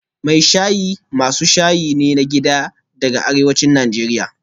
Mai shayi masu shayi ne na gida daga arewacin Najeriya